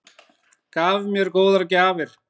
Gaf mér góðar gjafir.